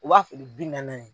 U b'a feere bi naani naani.